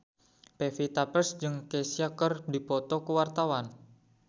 Pevita Pearce jeung Kesha keur dipoto ku wartawan